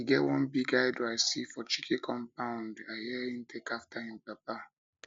e get one big idol i see for chike compound chike compound i hear he take after im papa